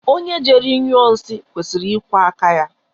Onye jere nyụọ nsị kwesịrị ịkwọ áká ya.